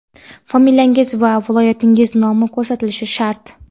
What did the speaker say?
familiyangiz va viloyatingiz nomi ko‘rsatilishi shart.